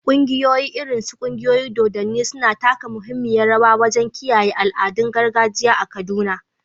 Ƙungiyoyi, irin su ƙungiyoyin dodanni, suna taka muhimmiyar rawa wajen kiyaye al’adun gargajiya a Kaduna.